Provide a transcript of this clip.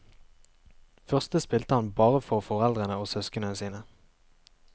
Første spilte han bare for foreldrene og søskenene sine.